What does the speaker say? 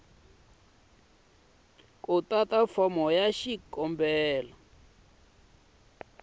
ku tata fomo ya xikombelo